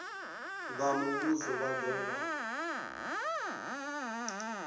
a muvhuso vha do vha